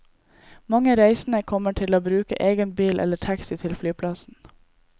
Mange reisende kommer til å bruke egen bil eller taxi til flyplassen.